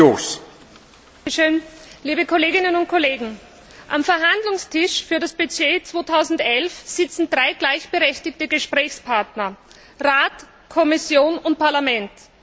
Herr Präsident, liebe Kolleginnen und Kollegen! Am Verhandlungstisch für das Budget 2011 sitzen drei gleichberechtigte Gesprächspartner Rat, Kommission und Parlament.